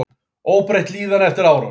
Óbreytt líðan eftir árás